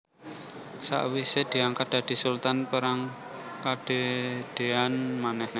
Sakwisé diangkat dadi Sultan perang kedadéan manéh